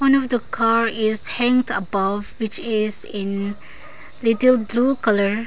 one of the car is hanged above which is in little blue colour.